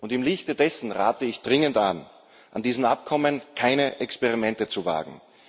Im Lichte dessen rate ich dringend an, an diesen Abkommen keine Experimente zu wagen.